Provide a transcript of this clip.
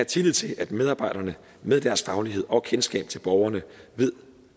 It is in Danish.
tillid til at medarbejderne med deres faglighed og kendskab til borgerne ved